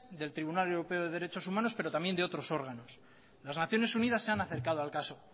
del tribunal europeo de derechos humanos pero también de otros órganos las naciones unidas se han acercado al caso